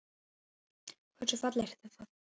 Hversu fallegt er það?